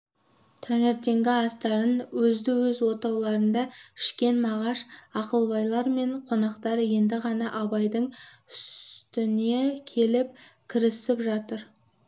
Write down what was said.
таңертеңгі астарын өзді-өз отауларында ішкен мағаш ақылбайлар мен қонақтар енді ғана абайдың үстіне келіп кірісіп жатыр